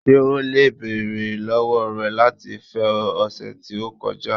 Ṣe o le beere lọwọ rẹ lati fẹ ọ, ọsẹ ti o kọja?